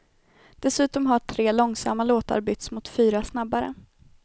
Dessutom har tre långsamma låtar byts mot fyra snabbare.